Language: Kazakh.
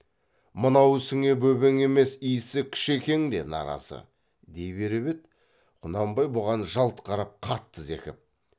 мынау ісіңе бөбең емес исі кішекең де наразы дей беріп еді құнанбай бұған жалт қарап қатты зекіп